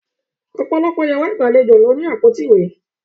Ọ̀pọ̀lọpọ̀ yàrá ìgbàlejò ló ní àpótí ìwé.